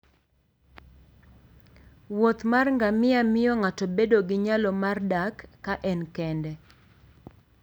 wuoth mar ngamia miyo ng'ato bedo gi nyalo mar dak ka en kende.